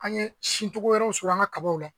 An ye sincogo wɛrɛw sɔrɔ an ka kabaw la